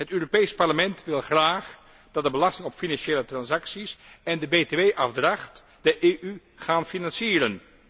Het Europees Parlement wil graag dat de belasting op financiële transacties en de BTW afdracht de EU gaan financieren.